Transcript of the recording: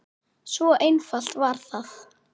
Svo einfalt var það.